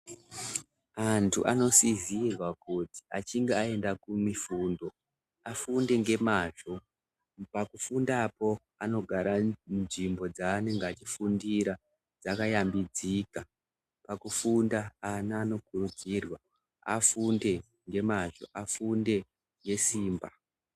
Antu anosizirwa kuti achinge aenda kumifundo afunde ngemazvo pakufundapo anogara nzvimbo dzanenge achifundira dzakayambidzika. Pakufunda ana anokurudzirwa afunde ngemazvo afunde ngesimba.